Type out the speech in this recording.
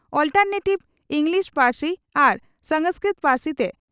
alternative English ᱯᱟᱹᱨᱥᱤ ᱟᱨ ᱥᱟᱝᱥᱠᱨᱤᱛ ᱯᱟᱹᱨᱥᱤᱛᱮ